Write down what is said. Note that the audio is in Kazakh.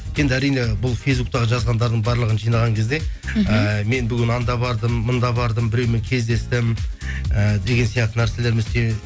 енді әрине бұл фейсбуктегі жазғандардың барлығын жинаған кезде мхм ііі мен бүгін анда бардым мұнда бардым біреумен кездестім ііі деген сияқты нәрселермен